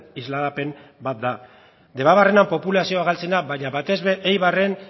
isladapen bat da debabarrenean populazioa galtzen da baina batez ere eibarren